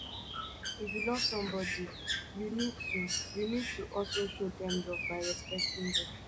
if you love somebodi you need to you need to also show dem love by respecting dem